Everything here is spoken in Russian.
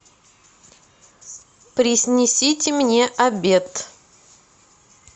принесите мне обед